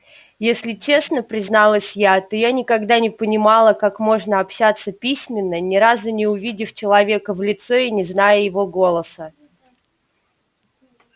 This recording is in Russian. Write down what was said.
если честно призналась я то я никогда не понимала как можно общаться письменно ни разу не увидев человека в лицо и не зная его голоса